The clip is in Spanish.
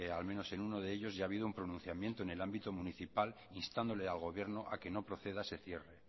al menos en uno de ellos ya ha habido un pronunciamiento en el ámbito municipal instándole al gobierno a que no proceda a ese cierre